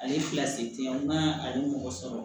Ale fila se tɛ ye n'a ale mɔgɔ sɔrɔ